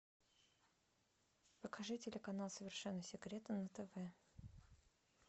покажи телеканал совершенно секретно на тв